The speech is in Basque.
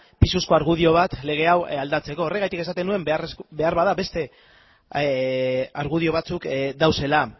pisuzko argudio bat lege hau aldatzeko horregatik esaten nuen beharbada beste argudio batzuk daudela